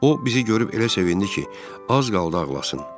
O bizi görüb elə sevindi ki, az qaldı ağlasın.